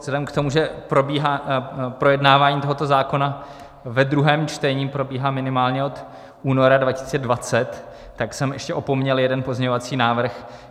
Vzhledem k tomu, že projednávání tohoto zákona ve druhém čtení probíhá minimálně od února 2020, tak jsem ještě opomněl jeden pozměňovací návrh.